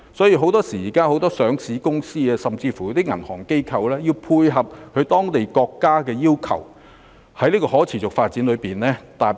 現時很多上市公司及銀行機構亦會配合當地政府的要求，就可持續發展設定目標。